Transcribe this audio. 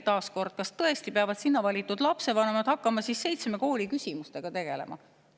Taas kord, kas tõesti peavad sinna valitud lapsevanemad hakkama seitsme kooli küsimustega tegelema?